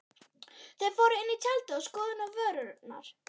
Þau fóru inn í tjaldið og skoðuðu vörurnar.